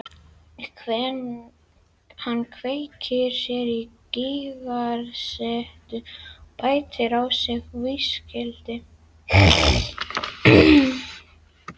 Hann kveikir sér í sígarettu og bætir á sig viskíi.